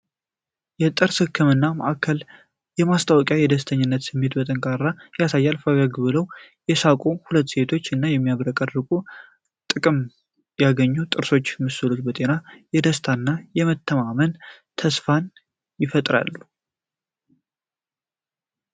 የጥርስ ህክምና ማዕከል ማስታወቂያ የደስተኝነትን ስሜት በጠንካራነት ያሳያል። ፈገግ ብለው የሳቁ ሁለት ሴቶች እና የሚያብረቀርቁ ጥቅም ያገኙ ጥርስ ምስሎች የጤና፣ የደስታና የመተማመን ተስፋን ይፈጥራሉ።